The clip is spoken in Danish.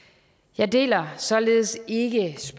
jeg deler således ikke